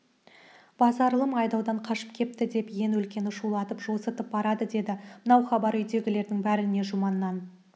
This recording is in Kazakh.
базарылым айдаудан қашып кепті деп иен өлкені шулатып жосытып барады деді мынау хабар үйдегілердің бәріне жұманнан